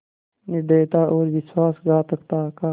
निर्दयता और विश्वासघातकता का